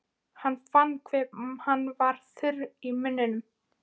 Hann fann hve hann var þurr í munninum.